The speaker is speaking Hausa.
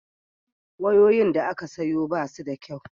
wayoyin da aka sayo basu da kyau